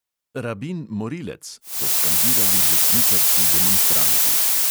"Rabin morilec," so skandirali desničarski demonstranti.